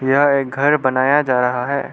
यह एक घर बनाया जा रहा है।